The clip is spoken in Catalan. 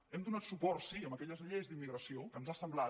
hem donat suport sí a aquelles lleis d’immigració que ens ha semblat